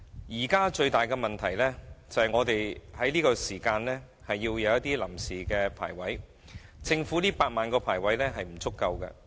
現時，最大問題是要在這段時間提供臨時龕位，政府的8萬個龕位是不足夠的。